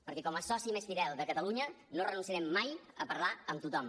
perquè com a soci més fidel de catalunya no renunciarem mai a parlar amb tothom